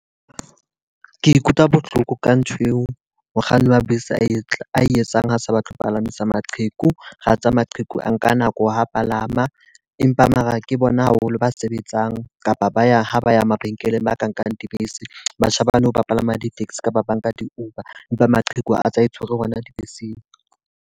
Ke ikutlwa bohloko ka nthweo, mokganni wa bese a etsa ae etsang ha a sa batle ho palamisa maqheku. Ra tsa maqheku a nka nako ha palama. Empa mara ke bona haholo ba sebetsang kapa ba yang ha ba ya mabenkeleng ba ka nkang dibese. Batjha ba nou ba palama di-taxi kapa banka di-Uber. Empa maqheku a tsa e tshwere hona dibeseng.